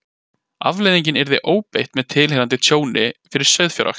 Afleiðingin yrði ofbeit með tilheyrandi tjóni fyrir sauðfjárrækt.